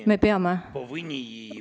Me peame!